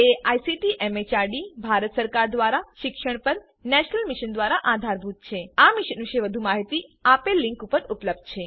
જે ICT MHRD Bharat સરકાર દ્વારા શિક્ષણ પર નેશનલ મિશન દ્વારા આધારભૂત છે આ મિશન વિશે વધુ માહીતી આ લીંક ઉપર ઉપલબ્ધ છે httpspoken tutorialorgNMEICT Intro